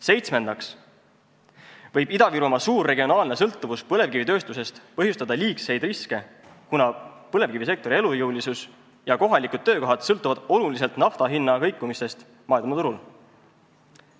Seitsmendaks võib Ida-Virumaa suur regionaalne sõltuvus põlevkivitööstusest põhjustada liigseid riske, kuna põlevkivisektori elujõulisus ja kohalikud töökohad sõltuvad oluliselt nafta hinna kõikumisest maailmaturul.